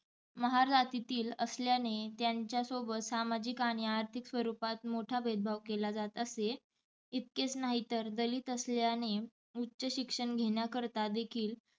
महार जातीतील असल्याने त्यांच्या सोबत सामाजिक आणि आर्थिक स्वरूपात मोठा भेदभाव केला जात असे. इतकेच नाही तर दलित असल्याने उच्च शिक्षण घेण्याकरता देखील.